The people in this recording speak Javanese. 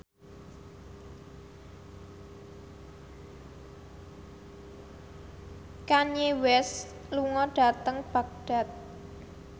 Kanye West lunga dhateng Baghdad